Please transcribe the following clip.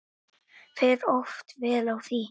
Fer oft vel á því.